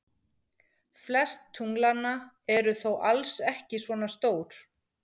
Flest tunglanna eru þó alls ekki svona stór.